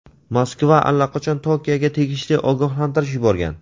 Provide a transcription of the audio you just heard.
Moskva allaqachon Tokioga tegishli ogohlantirish yuborgan.